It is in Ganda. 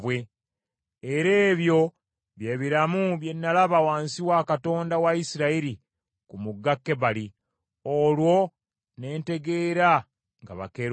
Era ebyo bye biramu bye nalaba wansi wa Katonda wa Isirayiri ku mugga Kebali, olwo ne ntegeera nga bakerubi.